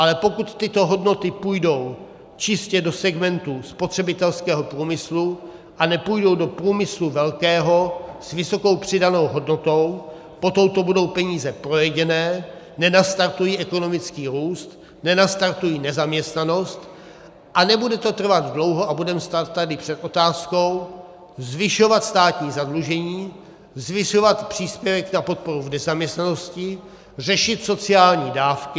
Ale pokud tyto hodnoty půjdou čistě do segmentu spotřebitelského průmyslu a nepůjdou do průmyslu velkého, s vysokou přidanou hodnotou, potom to budou peníze projedené, nenastartují ekonomický růst, nenastartují nezaměstnanost, a nebude to trvat dlouho a budeme stát tady před otázkou zvyšovat státní zadlužení, zvyšovat příspěvek na podporu v nezaměstnanosti, řešit sociální dávky.